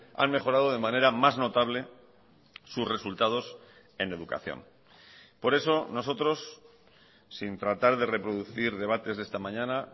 han mejorado de manera más notable sus resultados en educación por eso nosotros sin tratar de reproducir debates de esta mañana